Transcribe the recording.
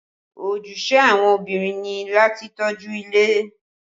Ojúṣe àwọn obìnrin ni láti tọ́jú ilé